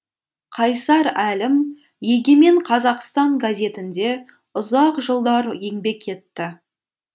қайсар әлім егемен қазақстан газетінде ұзақ жылдар еңбек етті